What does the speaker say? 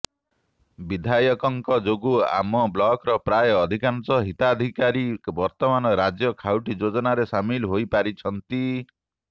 ବିଧାୟକଙ୍କ ଯୋଗୁ ଆମ ବ୍ଲକର ପ୍ରାୟ ଅଧିକାଂଶ ହିତାଧିକାରୀ ବର୍ତ୍ତମାନ ରାଜ୍ୟ ଖାଉଟି ଯୋଜନାରେ ସାମିଲ ହୋଇପାରିଛନ୍ତି